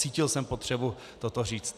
Cítil jsem potřebu toto říct.